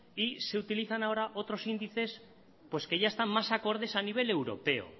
y se utilizan ahora otros índices pues que ya están más acordes a nivel europeo